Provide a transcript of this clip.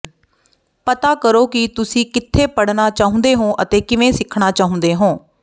ਪਤਾ ਕਰੋ ਕਿ ਤੁਸੀਂ ਕਿੱਥੇ ਪੜ੍ਹਨਾ ਚਾਹੁੰਦੇ ਹੋ ਅਤੇ ਕਿਵੇਂ ਸਿੱਖਣਾ ਚਾਹੁੰਦੇ ਹੋ